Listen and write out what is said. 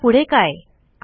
आता पुढे काय160